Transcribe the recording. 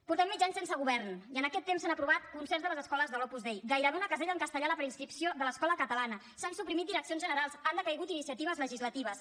portem mig any sense govern i en aquest temps s’han aprovat concerts de les escoles de l’opus dei gairebé una casella en castellà en la preinscripció de l’escola catalana s’han suprimit direccions generals han decaigut iniciatives legislatives